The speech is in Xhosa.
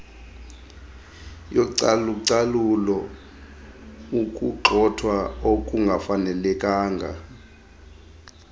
yocalucalulo ukugxothwa okungafanelekanga